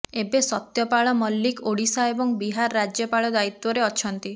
ଏବେ ସତ୍ୟପାଳ ମଲ୍ଲିକ ଓଡ଼ିଶା ଏବଂ ବିହାର ରାଜ୍ୟପାଳ ଦାୟିତ୍ୱରେ ଅଛନ୍ତି